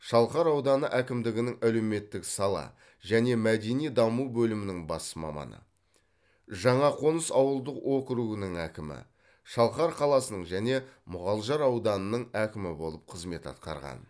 шалқар ауданы әкімдігінің әлеуметтік сала және мәдени даму бөлімінің бас маманы жаңақоныс ауылдық округінің әкімі шалқар қаласының және мұғалжар ауданының әкімі болып қызмет атқарған